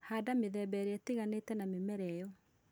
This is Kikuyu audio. Handa mĩthemba ĩrĩa ĩtiganĩte na mĩmera ĩyo